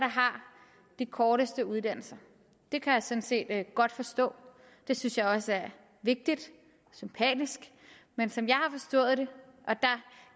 de korteste uddannelser det kan jeg sådan set godt forstå det synes jeg også er vigtigt sympatisk men som